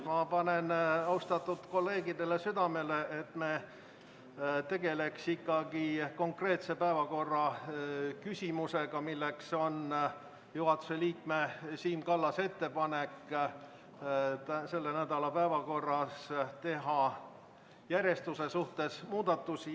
Ma panen austatud kolleegidele südamele, et me tegeleksime ikkagi konkreetse küsimusega, mis on juhatuse liikme Siim Kallase ettepanek selle nädala päevakorras teha järjestuse suhtes muudatusi.